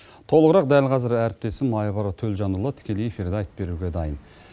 толығырақ дәл қазір әріптесім айбар төлжанұлы тікелей эфирде айтып беруге дайын